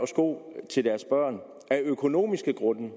sko til deres børn af økonomiske grunde